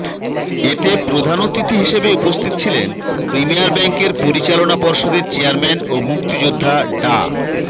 এতে প্রধান অতিথি হিসেবে উপস্থিত ছিলেন প্রিমিয়ার ব্যাংকের পরিচালনা পর্ষদের চেয়ারম্যান ও মুক্তিযোদ্ধা ডা